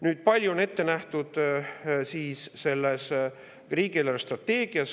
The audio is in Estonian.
Kui palju on ette nähtud riigi eelarvestrateegias?